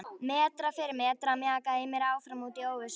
Metra fyrir metra mjakaði ég mér áfram út í óvissuna.